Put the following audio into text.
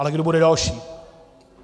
Ale kdo bude další?